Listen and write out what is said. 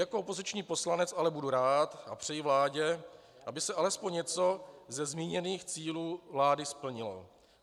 Jako opoziční poslanec ale budu rád a přeji vládě, aby se alespoň něco ze zmíněných cílů vlády splnilo.